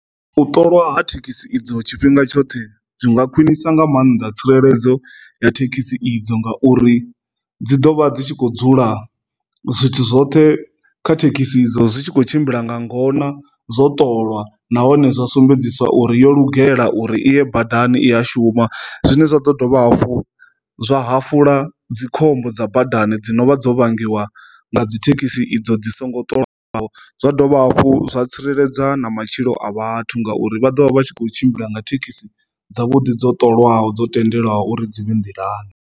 U ṱolwa ha thekhisi idzo tshifhinga tshoṱhe zwi nga khwinisa nga maanḓa tsireledzo ya thekhisi idzo nga uri dzi dovha dzi tshi khou dzula zwithu zwoṱhe kha thekhisi idzo zwi tshi kho tshimbila nga ngona zwo ṱoliwa nahone zwa sumbedziswa uri yo lugela uri iye badani i a shuma. Zwine zwa ḓo dovha hafhu zwa hafula dzikhombo dza badani dzi no vha dzo vhangiwa nga dzi thekhisi idzo dzi songo ṱolwaho zwa dovha hafhu zwa tsireledza na matshilo a vhathu ngauri vha ḓovha vha tshi kho tshimbila nga thekhisi dza vhuḓi dzo ṱolwaho dzo tendelwa uri dzi vhe nḓilani.